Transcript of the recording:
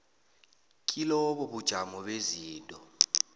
kilobo ubujamo bezinto